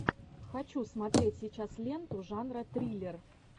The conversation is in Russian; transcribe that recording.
хочу смотреть сейчас ленту жанра триллер